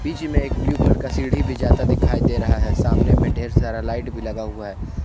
में एक blue colour का सीढ़ी भी जाता दिखाई दे रहा है सामने में ढेर सारा लाइट भी लगा हुआ है।